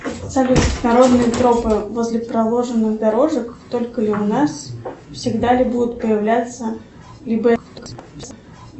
салют народные тропы возле проложенных дорожек только ли у нас всегда ли будут появляться либо